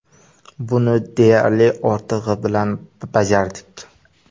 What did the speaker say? Buni deyarli ortig‘i bilan bajardik.